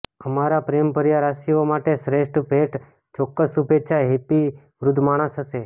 અમારા પ્રેમભર્યા રાશિઓ માટે શ્રેષ્ઠ ભેટ ચોક્કસ શુભેચ્છા હેપી વૃદ્ધ માણસ હશે